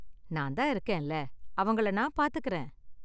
நான் தான் இருக்கேன்ல, அவங்கள நான் பார்த்துக்கறேன்.